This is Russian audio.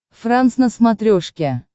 франс на смотрешке